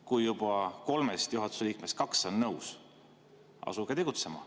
Kui kolmest juhatuse liikmest juba kaks on nõus, siis asuge tegutsema.